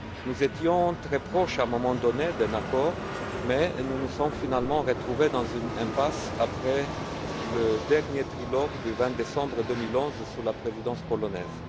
Nous étions très proches d'un accord, à un moment donné, mais nous nous sommes finalement retrouvés dans une impasse après le dernier trilogue du 20 décembre 2011, sous la présidence polonaise.